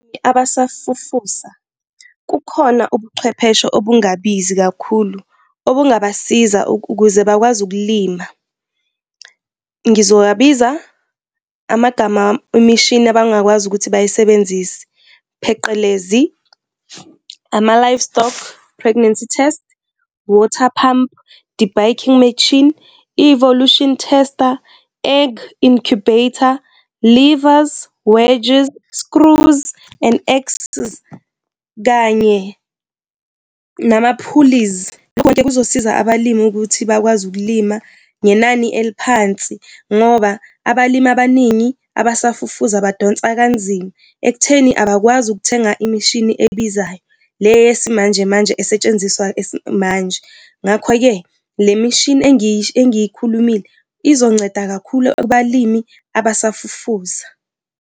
Abasafufusa kukhona ubuchwepheshe obungabizi kakhulu obungabasiza ukuze bakwazi ukulima. Ngizowabiza amagama imishini abangakwazi ukuthi bay'sebenzise, pheqelezi, ama-livestock pregnancy test, water pump debagging machine, evolution tester, egg incubator, levers, wedges, screws and axes kanye nama-pulleys. Lokho-ke kuzosiza abalimi ukuthi bakwazi ukulima ngenani eliphansi ngoba abalimi abaningi abasafufusa badonsa kanzima, ekutheni abakwazi ukuthenga imishini ebizayo, le yesimanje manje esetshenziswayo manje. Ngakho-ke le mishini engiy'khulumile, izonceda kakhulu kubalimi abasafufusa.